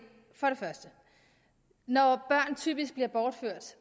når børn typisk bliver bortført